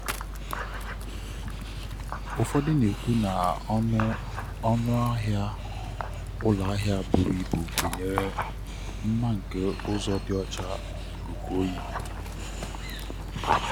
ụfọdụ na-ekwu na ọnụ ọnụ ahịa ụlọ ahịa buru ibu gụnyere mma nke ụzọ dị ọcha na ikuku oyi.